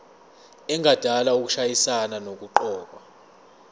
engadala ukushayisana nokuqokwa